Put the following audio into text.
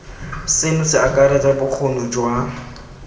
seno se akaretsa bokgoni jwa